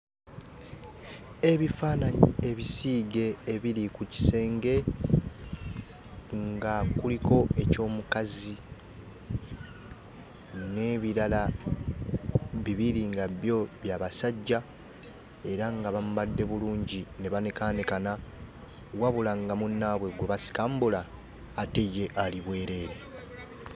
Ebifaananyi ebisiige ebiri ku kisenge nga kuliko eky'omukazi n'ebirala bibiri nga byo bya basajja era nga bambadde bulungi ne banekaanekana wabula nga munnaabwe gwe basikambula ate ye ali bwereere.